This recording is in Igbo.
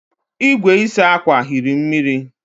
igwe ịsa akwa hiri mmiri